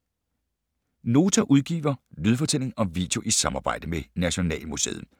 Nota udgiver lydfortælling og video i samarbejde med Nationalmuseet